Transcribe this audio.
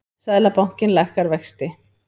Seðlabankinn lækkar vexti